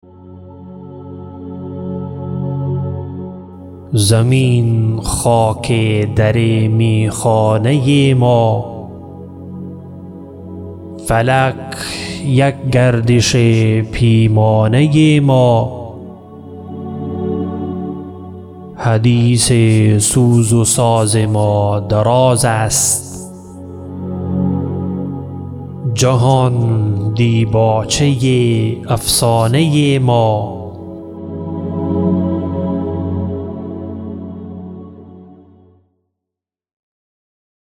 زمین خاک در میخانه ما فلک یک گردش پیمانه ما حدیث سوز و ساز ما دراز است جهان دیباچه افسانه ما